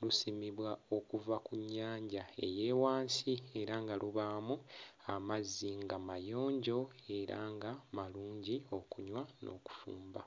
lusimibwa okuva ku nnyanja eya wansi era nga lubaamu amazzi nga mayonjo era nga malungi okunywa n'okufumba.